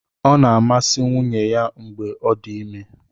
Ọ na-amasị nwunye ya mgbe ọ dị ime.